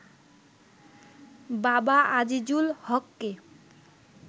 বাবা আজিজুল হককে